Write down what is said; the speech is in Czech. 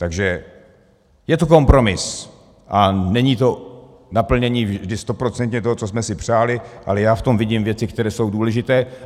Takže je to kompromis a není to naplnění vždy stoprocentně toho, co jsme si přáli, ale já v tom vidím věci, které jsou důležité.